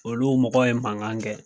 Olu mɔgɔw ye mankan kɛ